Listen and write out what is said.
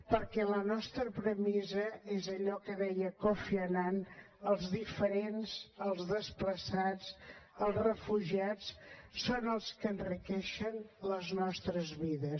perquè la nostra premissa és allò que deia kofi annan els diferents els desplaçats els refugiats són els que enriqueixen les nostres vides